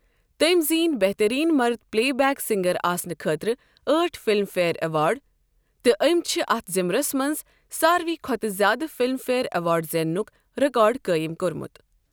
تٔمۍ زینۍ بہتریٖن مرٕد پٕلے بیک سِنٛگر آسنہٕ خٲطرٕ أٹھ فِلِم فِیَر اٮ۪وارڈ تہٕ أمۍ چھِ اَتھ ضِمرس منز سارِوٕے کھۄتہٕ زیادٕ فِلِم فِیَر اٮ۪وارڈ زینٛنٗك رِكارڈ قٲیِم کوٚرمُت۔